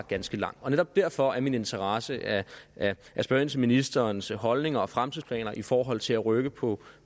ganske lang og netop derfor er min interesse at spørge ind til ministerens holdninger og fremtidsplaner i forhold til at rykke på